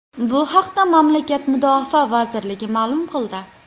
Bu haqda mamlakat mudofaa vazirligi ma’lum qildi .